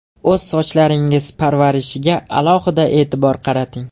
O‘z sochlaringiz parvarishiga alohida e’tibor qarating.